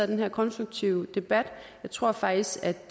den her konstruktive debat jeg tror faktisk